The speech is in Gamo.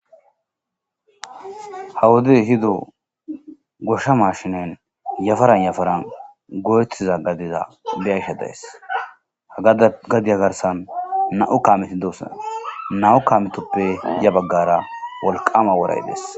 Hawodey hido goshsha mashinen yafaran yafaran go7etiza gadiza beyagsha days ha ada gadiya garsan nau kaamitidos nau kaamitoppe ya baggara wolqama woray dees